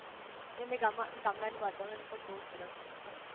હમમ એમેય ગામ ગામડાં નું વાતાવર પણ બહુ સરસ હોય છે